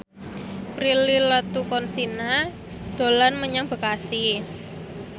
Prilly Latuconsina dolan menyang Bekasi